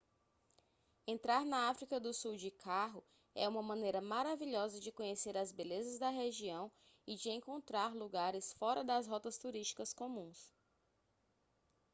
entrar na áfrica do sul de carro é uma maneira maravilhosa de conhecer as belezas da região e de encontrar lugares fora das rotas turísticas comuns